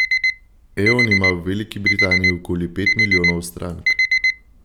Eon ima v Veliki Britaniji okoli pet milijonov strank.